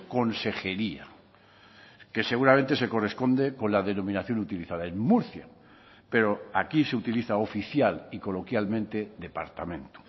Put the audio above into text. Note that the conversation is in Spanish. consejería que seguramente se corresponde con la denominación utilizada en murcia pero aquí se utiliza oficial y coloquialmente departamento